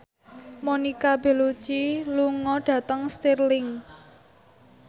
Monica Belluci lunga dhateng Stirling